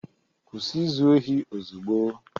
Kwụsị izu ohi ozugbo!